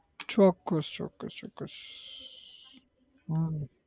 ચોક્કસ ચોક્કસ ચોક્કસ હમ